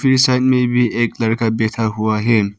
इस साइड में भी एक लड़का बैठा हुआ है।